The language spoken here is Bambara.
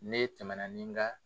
Ne tɛmɛ ni n ka